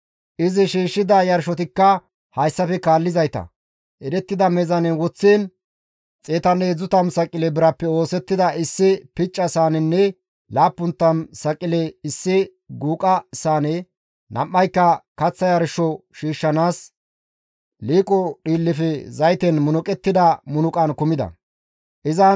Izi shiishshida yarshotikka hayssafe kaallizayta, erettida meezaanen woththiin 130 saqile birappe oosettida issi picca saanenne 70 saqile issi guuqa saane, nam7anka kaththa yarsho shiishshanaas liiqo dhiillefe zayten munuqettida munuqay kumi uttides.